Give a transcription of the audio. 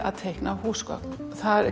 að teikna húsgögn það